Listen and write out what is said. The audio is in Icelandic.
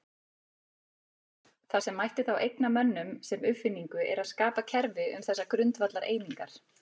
Það sem mætti þá eigna mönnum sem uppfinningu er að skapa kerfi um þessar grundvallareiningar.